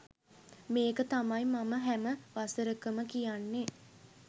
මේක තමයි මම හැම වසරකම කියන්නේ